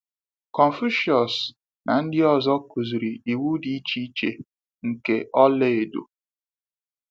Confucius na ndị ọzọ kuziri iwu dị iche iche nke ola edo.